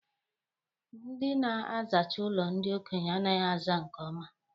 Ndị na-azacha ụlọ ndị okenye anaghị aza nke ọma.